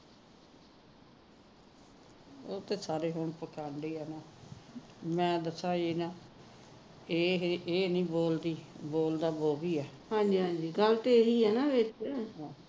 ਉਹ ਤਾ ਸਾਰੇ ਹੁਣ ਮੈ ਦਿਖਾਏ ਐ ਇਹ ਨਹੀ ਬੋਲਦੀ ਬੋਲਦਾ ਉਹ ਵੀ ਹੈ ਗੱਲ ਤਾ ਇਹੀ ਹੈ ਨਾ ਇਕ